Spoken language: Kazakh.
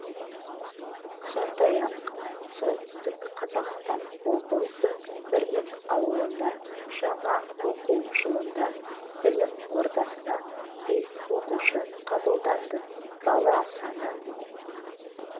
сондай-ақ солтүстік қазақстан облысы бірлік ауылында жаңа оқу жылында білім ордасына бес оқушы қабылданды бала саны